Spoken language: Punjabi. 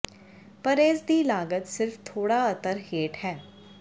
ਪਰ ਇਸ ਦੀ ਲਾਗਤ ਸਿਰਫ ਥੋੜ੍ਹਾ ਅਤਰ ਹੇਠ ਹੈ